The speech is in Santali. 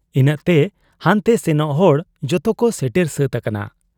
ᱤᱱᱟᱹᱜᱛᱮ ᱦᱟᱱᱛᱮ ᱥᱮᱱᱚᱜ ᱦᱚᱲ ᱡᱚᱛᱚᱠᱚ ᱥᱮᱴᱮᱨ ᱥᱟᱹᱛ ᱟᱠᱟᱱᱟ ᱾